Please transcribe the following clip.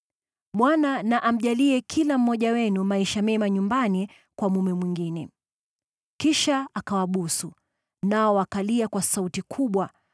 Bwana na amjalie kila mmoja wenu maisha mema nyumbani kwa mume mwingine.” Kisha akawabusu, nao wakalia kwa sauti kubwa,